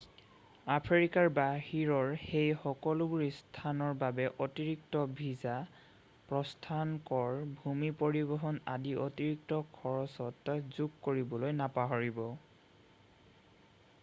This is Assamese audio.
আফ্ৰিকাৰ বাহিৰৰ সেই সকলোবোৰ স্থানৰ বাবে অতিৰিক্ত ভিছা প্ৰস্থান কৰ ভূমি পৰিবহণ আদি অতিৰিক্ত খৰচত যোগ কৰিবলৈ নাপাহৰিব